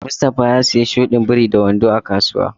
Mustafa ya siya shudin biri da wando a kasuwa.